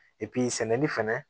sɛnɛni fɛnɛ